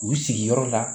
U sigiyɔrɔ la